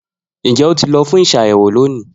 Njẹ o ti lọ fun ur ṣayẹwo loni